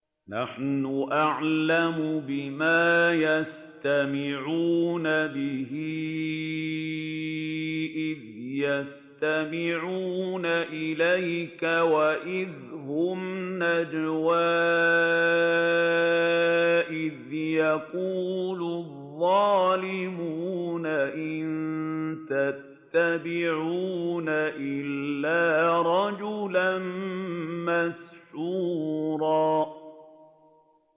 نَّحْنُ أَعْلَمُ بِمَا يَسْتَمِعُونَ بِهِ إِذْ يَسْتَمِعُونَ إِلَيْكَ وَإِذْ هُمْ نَجْوَىٰ إِذْ يَقُولُ الظَّالِمُونَ إِن تَتَّبِعُونَ إِلَّا رَجُلًا مَّسْحُورًا